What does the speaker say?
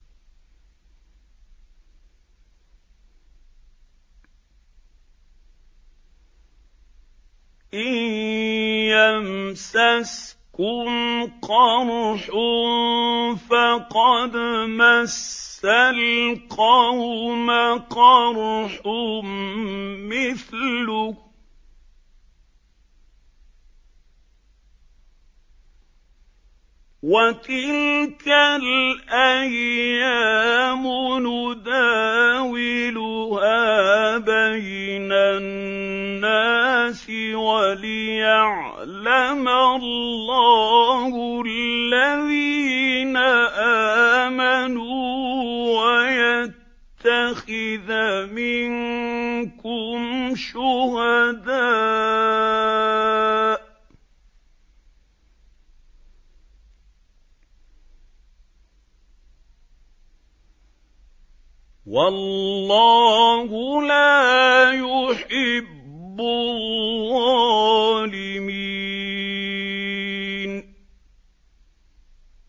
إِن يَمْسَسْكُمْ قَرْحٌ فَقَدْ مَسَّ الْقَوْمَ قَرْحٌ مِّثْلُهُ ۚ وَتِلْكَ الْأَيَّامُ نُدَاوِلُهَا بَيْنَ النَّاسِ وَلِيَعْلَمَ اللَّهُ الَّذِينَ آمَنُوا وَيَتَّخِذَ مِنكُمْ شُهَدَاءَ ۗ وَاللَّهُ لَا يُحِبُّ الظَّالِمِينَ